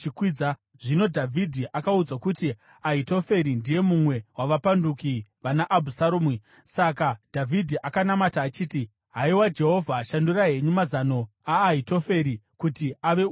Zvino Dhavhidhi akaudzwa kuti, “Ahitoferi ndiye mumwe wavapanduki vana Abhusaromu.” Saka Dhavhidhi akanamata achiti, “Haiwa Jehovha, shandurai henyu mazano aAhitoferi kuti ave upenzi.”